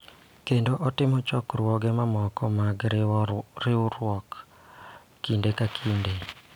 Kendo otimo chokruoge mamoko mag riwruok kinde ka kinde.